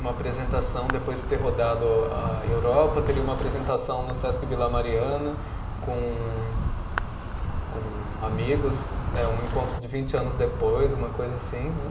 Uma apresentação, depois de ter rodado a Europa, teria uma apresentação no Sesc Vila Mariana com com amigos né, um encontro de vinte anos depois, uma coisa assim, né?